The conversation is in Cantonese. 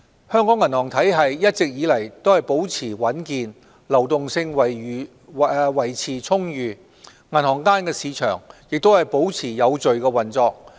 香港銀行體系一直以來保持穩健，流動性維持充裕，銀行間市場也保持有序運作。